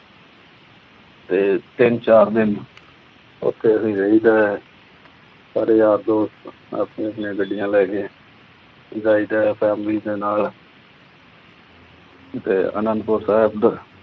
ਤੇ ਤਿੰਨ-ਚਾਰ ਦਿਨ ਉਥੇ ਹੀ ਰਹੀਦਾ। ਘਰੇ ਆ ਕੇ ਆਪੋ-ਆਪਣੀਆਂ ਗੱਡੀਆਂ ਲੈ ਕੇ ਜਾਈਦਾ ਆਸਾਨੀ ਦੇ ਨਾਲ ਤੇ ਅਨੰਦਪੁਰ ਸਾਹਿਬ